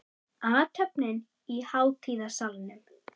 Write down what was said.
Athöfnin í hátíðasalnum